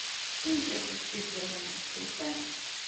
In če se spet vrnemo na ceste.